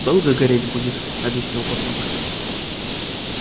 долго гореть будет объяснил папулька